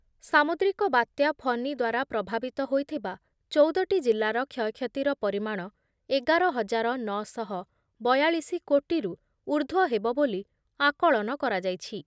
ସାମୁଦ୍ରିକ ବାତ୍ୟା ଫନି ଦ୍ୱାରା ପ୍ରଭାବିତ ହୋଇଥିବା ଚଉଦ ଟି ଜିଲ୍ଲାର କ୍ଷୟକ୍ଷତିର ପରିମାଣ ଏଗାର ହଜାର ନ ଶହ ବୟାଳିଶି କୋଟିରୁ ଊର୍ଦ୍ଧ୍ଵ ହେବ ବୋଲି ଆକଳନ କରାଯାଇଛି ।